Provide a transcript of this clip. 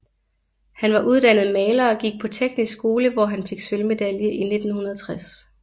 Han var uddannet maler og gik på Teknisk skole hvor han fik sølvmedalje i 1960